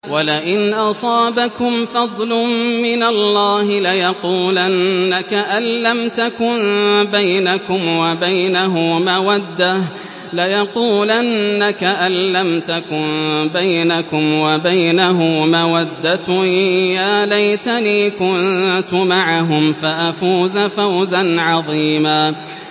وَلَئِنْ أَصَابَكُمْ فَضْلٌ مِّنَ اللَّهِ لَيَقُولَنَّ كَأَن لَّمْ تَكُن بَيْنَكُمْ وَبَيْنَهُ مَوَدَّةٌ يَا لَيْتَنِي كُنتُ مَعَهُمْ فَأَفُوزَ فَوْزًا عَظِيمًا